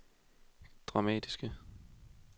dramatiske